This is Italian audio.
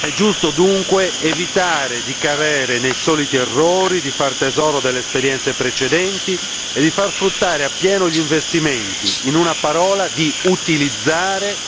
È giusto dunque evitare di cadere nei soliti errori, far tesoro delle esperienze precedenti e far fruttare appieno gli investimenti in una parola, utilizzare